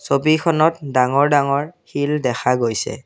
ছবিখনত ডাঙৰ ডাঙৰ শিল দেখা গৈছে।